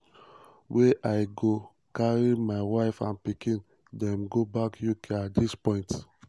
wey i go carry my wife and pikin dem go back uk at dis point."